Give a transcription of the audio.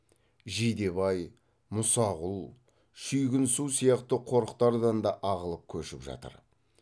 жидебай мұсақұл шүйгінсу сияқты қорықтардан да ағылып көшіп жатыр